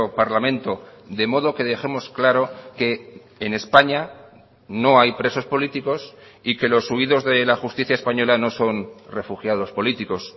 parlamento de modo que dejemos claro que en españa no hay presos políticos y que los huidos de la justicia española no son refugiados políticos